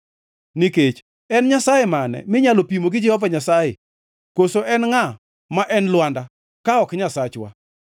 Nikech en Nyasaye mane minyalo pimo gi Jehova Nyasaye? Koso en ngʼa ma en Lwanda, ka ok Nyasachwa?